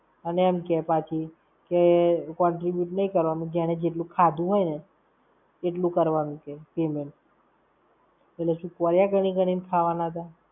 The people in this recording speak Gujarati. અને એમ કે પાછી, કે contribute નઈ કરવાનું. જેણે જેટલું ખાધું હોય ને એટલું કરવાનું છે payment. એટલે શું કોળિયા ગણી ગણી ને ખાવાના હતા?